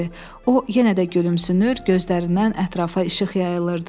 O, yenə də gülümsünür, gözlərindən ətrafa işıq yayılırdı.